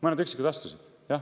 Mõned üksikud astusid.